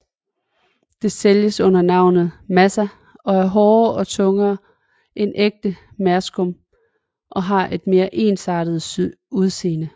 Det sælges under navnet Massa og er hårdere og tungere end ægte merskum og har et mere ensartet udseende